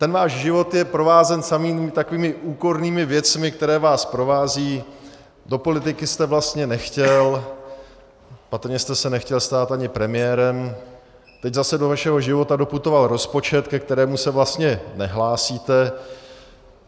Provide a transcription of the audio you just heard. Ten váš život je provázen samými takovými úkornými věcmi, které vás provázejí, do politiky jste vlastně nechtěl, patrně jste se nechtěl stát ani premiérem, teď zase do vašeho života doputoval rozpočet, ke kterému se vlastně nehlásíte.